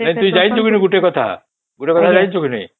ନାଇଁ ତୁ ଜାଣିଚୁ ନ ଗୋଟେ କଥା ଗୋଟେ କଥା ଜାଣିଚୁ କେ ନାଇଁ